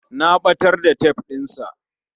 Na ɓatar da tef ɗin sa